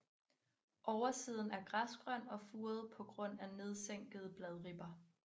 Oversiden er græsgrøn og furet på grund af nedsænkede bladribber